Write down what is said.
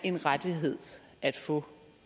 en rettighed at få